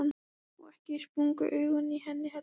Og ekki sprungu augun í henni heldur.